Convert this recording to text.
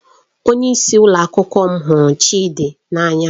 Onyeisi ụlọ akwụkwọ m hụrụ Chidi n'anya